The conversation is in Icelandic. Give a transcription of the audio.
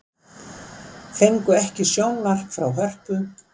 Fengu ekki að sjónvarpa frá Hörpu